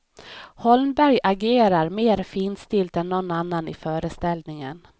Holmberg agerar mer finstilt än någon annan i föreställningen.